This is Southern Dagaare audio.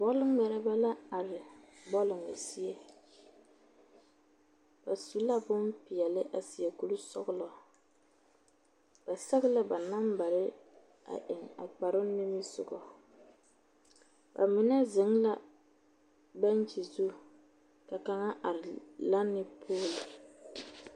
Bͻle ŋmԑrebԑ la are bͻlͻ zie. Ba su la bompeԑle a seԑ kurisͻgelͻ. Ba sԑge la ba nambare a eŋ a kpare nimisogͻŋ. Ba mine zeŋ la beŋkyi zu ka kaŋa are lanne pooli